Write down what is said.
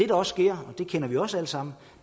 også sker og det kender vi også alle sammen